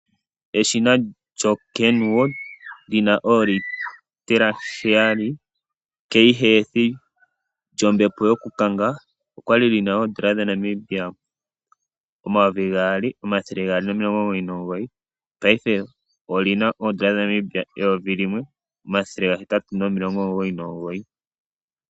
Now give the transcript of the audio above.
Eshina lyoKenwood li na oolitela heyali 'K-Healthy' lyombepo yokukanga okwa li li na N$ 2 299, paife oli na N$ 1 899.